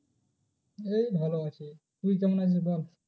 এই ভালো আছি। তুই কেমন আছিস বল?